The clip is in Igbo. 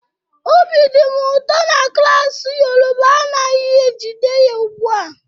Obi dị m ụtọ na klas Yoruba anaghị ejide ya ugbu a